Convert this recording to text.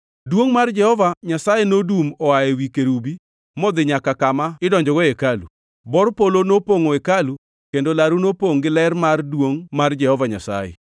Duongʼ mar Jehova Nyasaye nodum oa ewi kerubi modhi nyaka kama idonjogo e hekalu. Bor polo nopongʼo hekalu, kendo laru nopongʼ gi ler mar duongʼ mar Jehova Nyasaye.